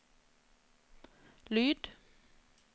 lyd